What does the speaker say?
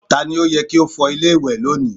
Ta ni ó yẹ kí ó fọ ilé ìwẹ̀ lónìí?